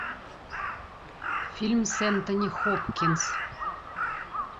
фильм с энтони хопкинс